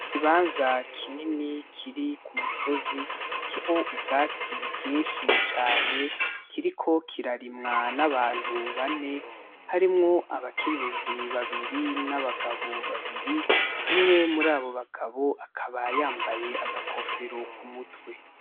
Ikibanza kinini kiri ku musozi, kiriko ubwatsi bwinshi cane, kiriko kirarimwa n'abantu bane, harimwo abakenyezi babiri n'abagabo babiri, umwe murabo bagabo akaba yambaye agakofero ku mutwe.